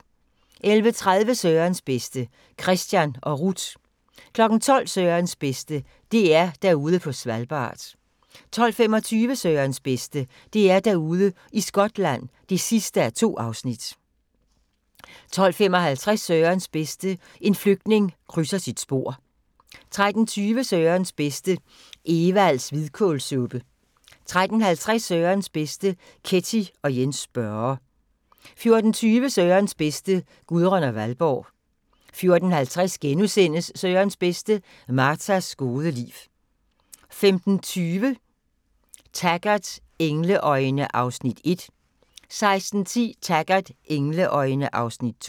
11:30: Sørens bedste: Kristian og Ruth 12:00: Sørens bedste: DR Derude på Svalbard 12:25: Sørens bedste: DR-Derude i Skotland (2:2) 12:55: Sørens bedste: En flygtning krydser sit spor 13:20: Sørens bedste: Evalds hvidkålssuppe 13:50: Sørens bedste: Ketty og Jens Børre 14:20: Sørens bedste: Gudrun og Valborg 14:50: Sørens bedste: Martas gode liv * 15:20: Taggart: Engleøjne (Afs. 1) 16:10: Taggart: Engleøjne (Afs. 2)